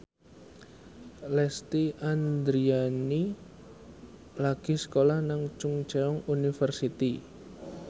Lesti Andryani lagi sekolah nang Chungceong University